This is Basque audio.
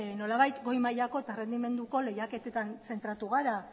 nolabait goimailako eta errendimenduko lehiaketetan zentratu gara